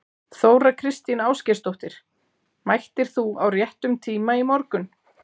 Þóra Kristín Ásgeirsdóttir: Mættir þú á réttum tíma í morgun?